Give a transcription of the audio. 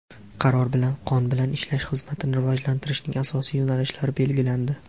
Qaror bilan qon bilan ishlash xizmatini rivojlantirishning asosiy yo‘nalishlari belgilandi.